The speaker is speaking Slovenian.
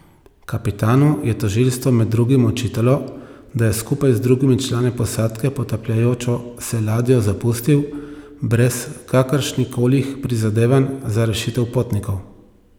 Kapitanu je tožilstvo med drugim očitalo, da je skupaj z drugimi člani posadke potapljajočo se ladjo zapustil brez kakršnihkoli prizadevanj za rešitev potnikov.